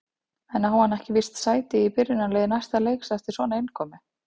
En á hann ekki víst sæti í byrjunarliði næsta leiks eftir svona innkomu?